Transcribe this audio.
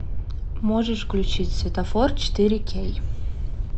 можешь включить светофор четыре кей